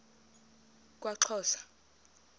kwaxhosa